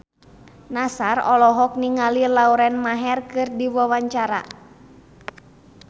Nassar olohok ningali Lauren Maher keur diwawancara